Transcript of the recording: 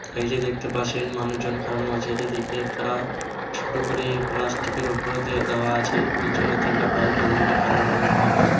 এই যে দেখতে পাচ্ছেন মানুষজন খাড়ানো আছে। এইদিকে একটা ছোট করে প্লাস্টিক -এর ওপরে দেয়া দেওয়া আছে নীচনে বাইক আছে যে কে কালো রঙের বাইক আছে।